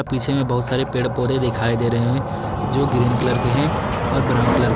पीछे में बहुत सारे पेड़ पौधे दिखाई दे रहे हैं जो ग्रीन कलर के हैं और ब्राउन कलर ।